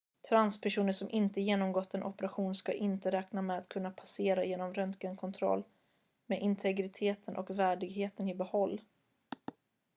transpersoner som inte genomgått en operation ska inte räkna med att kunna passera genom röntgenkontrollen med integriteten och värdigheten i behåll